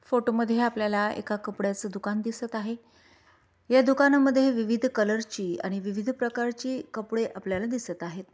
Photo मध्ये आपल्याला एका कपड्याच दुकान दिसत आहे या दुकाना मध्ये विविध कलर ची आणि विविध प्रकारची कपडे आपल्याला दिसत आहेत.